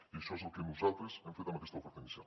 i això és el que nosaltres hem fet amb aquesta oferta inicial